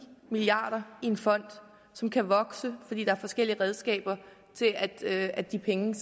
milliard kroner i en fond som kan vokse fordi der er forskellige redskaber til at at de penge